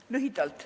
Teen lühidalt.